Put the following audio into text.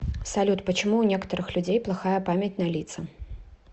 салют почему у некоторых людей плохая память на лица